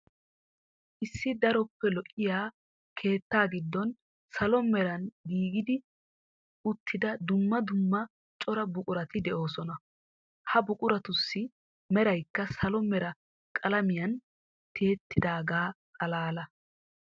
Issi daroppe lo'iya keettaa giddon salo meran giigi uttida dumma dumma cora buqurati de'oosona. Ha buquratussi meraykka salo mera qalamiyan tiyettaagaa xalaala.